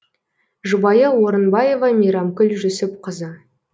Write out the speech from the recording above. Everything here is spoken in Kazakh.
жұбайы орынбаева мейрамкүл жүсіпқызы